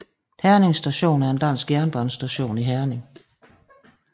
Herning Station er en dansk jernbanestation i Herning